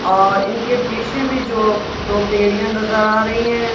और इनके पीछे भी जो दो बेड़िया नजर आ रही है।